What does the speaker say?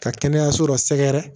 Ka kɛnɛyaso dɔ sɛgɛrɛ